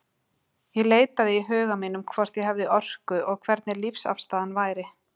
Ég leitaði í huga mínum, hvort ég hefði orku, og hvernig lífsafstaðan væri.